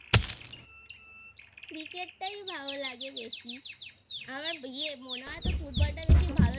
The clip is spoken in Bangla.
Cricket টাই ভালো লাগে বেশি আমার ইয়ে মনে হয় তোর Football টা বেশি ভালো লাগে